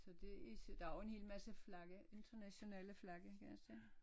Så det ikke der jo en helt masse flag internationale flag kan jeg se